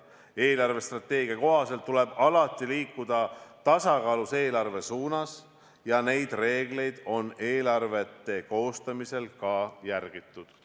Eelarvestrateegia kohaselt tuleb alati liikuda tasakaalus eelarve suunas ja neid reegleid on eelarvete koostamisel ka järgitud.